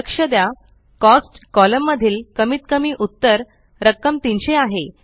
लक्ष द्या cost column मधील कमीत कमी उत्तर रक्कम 300 आहे